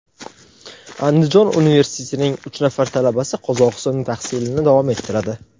Andijon universitetining uch nafar talabasi Qozog‘istonda tahsilni davom ettiradi.